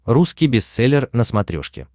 русский бестселлер на смотрешке